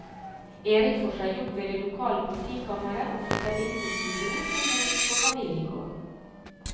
Erik får seg jobb ved det lokale politikammeret og flytter inn hos sin bror som bor på familiegården.